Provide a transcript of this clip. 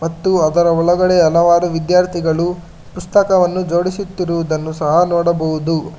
ಮತ್ತು ಅದರ ಒಳಗಡೆ ಹಲವಾರು ವಿದ್ಯಾರ್ಥಿಗಳು ಪುಸ್ತಕವನ್ನು ಜೋಡಿಸುತ್ತಿರುವುದನ್ನು ಸಹ ನೋಡುಬಹುದು.